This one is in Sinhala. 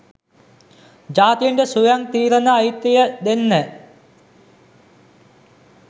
ජාතීන්ට ස්වයං තීරන අයිතිය දෙන්න.